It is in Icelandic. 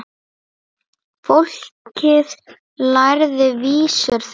Fólkið lærði vísur þeirra.